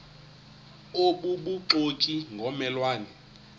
obubuxoki ngomme lwane